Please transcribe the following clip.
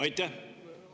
Aitäh!